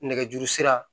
Nɛgɛjuru sira